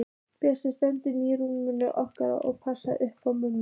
Bjössi steinsefur í rúminu okkar og passar upp á mömmu.